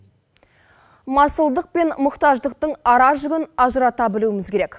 масылдық пен мұқтаждықтың ара жігін ажырата білуіміз керек